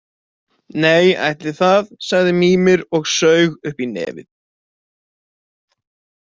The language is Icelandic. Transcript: Nei, ætli það, sagði Mímir og saug upp í nefið.